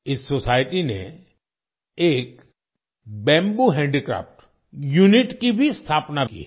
इस सोसाइटी ने एक बैंबू हैंडीक्राफ्ट यूनिट की भी स्थापना की है